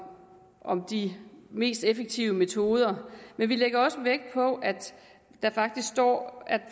om de mest effektive metoder men vi lægger også vægt på at der faktisk står at